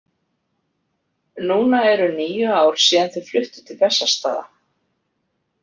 Núna eru níu ár síðan þau fluttu til Bessastaða.